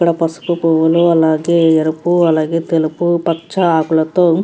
ఇక్కడ పువ్వులు అలాగే ఎరుపు అలాగే తెలుపు పచ్చ ఆకులతో ఉమ్ --